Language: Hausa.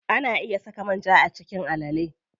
Ana iya saka manja a cikin alale.